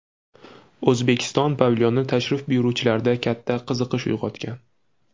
O‘zbekiston pavilyoni tashrif buyuruvchilarda katta qiziqish uyg‘otgan.